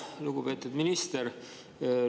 Lugupeetud minister!